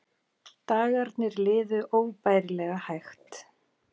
Dagarnir liðu óbærilega hægt.